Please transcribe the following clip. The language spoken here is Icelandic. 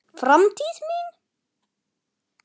Framtíð mín?